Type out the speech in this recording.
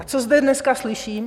A co zde dneska slyším?